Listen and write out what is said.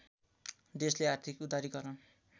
देशले आर्थिक उदारीकरण